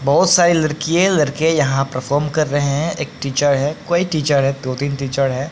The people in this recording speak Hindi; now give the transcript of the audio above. बहुत सारी लड़किए लड़के यहां परफॉर्म कर रहे हैं एक टीचर है कोई टीचर है दो-तीन टीचर है।